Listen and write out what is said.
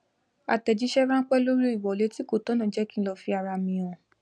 àtèjísé ránpé lóri ìwolé tí kò tònà jé kí lò fi ara mi hàn